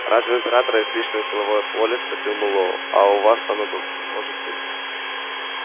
разве у императора есть личное силовое поле спросил мэллоу а у вас оно может быть